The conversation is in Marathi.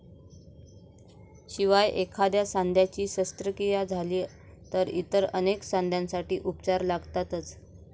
शिवाय एखाद्या सांध्याची शस्त्रक्रिया झाली तर इतर अनेक सांध्यांसाठी उपचार लागतातच.